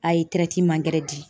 A ye gɛrɛ di.